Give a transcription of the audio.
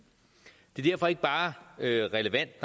det er derfor ikke bare relevant